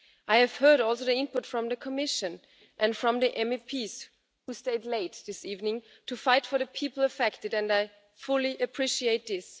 I have heard also the input from the Commission and from the MEPs who stayed late this evening to fight for the people affected, and I fully appreciate this.